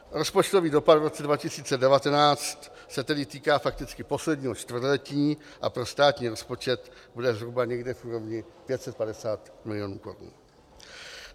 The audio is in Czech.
Rozpočtový dopad v roce 2019 se tedy týká fakticky posledního čtvrtletí a pro státní rozpočet bude zhruba někde v úrovni 550 milionů korun.